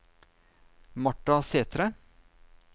Marta Sætre